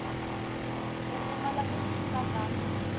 u pfumala ku twisisa ka